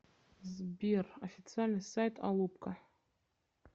сбер официальный сайт алупка